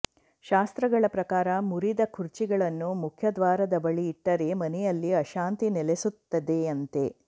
ಶಾಸ್ತ್ರಗಳ ಪ್ರಕಾರ ಮುರಿದ ಖುರ್ಚಿಗಳನ್ನು ಮುಖ್ಯ ದ್ವಾರದ ಬಳಿ ಇಟ್ಟರೆ ಮನೆಯಲ್ಲಿ ಅಶಾಂತಿ ನೆಲೆಸುತ್ತದೆಯಂತೆ